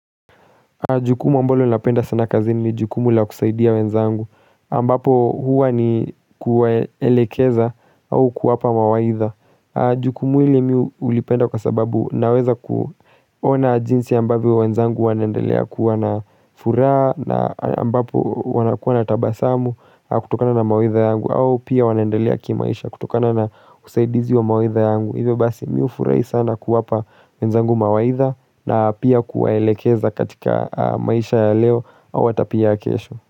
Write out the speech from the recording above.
Jukumu ambalo na penda sana kazini ni jukumu la kusaidia wenzangu ambapo huwa ni kuwaelekeza au kuwapa mawaitha. Jukumu ili miu ulipenda kwa sababu naweza kuona jinsi ambapo wenzangu wanaendelea kuwa na furaha na ambapo wanakuwa na tabasamu kutokana na mawaitha yangu au pia wanaendelea kimaisha kutokana na husaidizi wa mawaitha yangu. Hivyo basi miufurahi sana kuwapa wenzangu mawaitha na pia kuwaelekeza katika maisha ya leo au hata pia ya kesho.